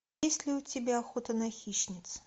есть ли у тебя охота на хищниц